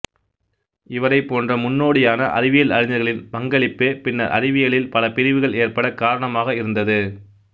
இவரைப் போன்ற முன்னோடியான அறிவியல் அறிஞர்களின் பங்களிப்பே பின்னர் அறிவியலில் பல பிரிவுகள் ஏற்படக் காரணமாக இருந்தது